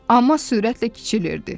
Amma sürətlə kiçilirdi.